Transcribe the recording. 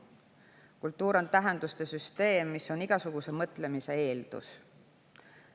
Kultuur on tähenduste süsteem, mis on igasuguse mõtlemise eeldus.